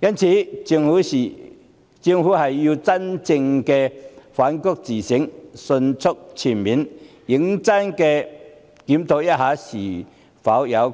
因此，政府要真正反躬自省，迅速、全面、認真地檢討